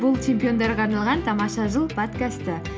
бұл чемпиондарға арналған тамаша жыл подкасты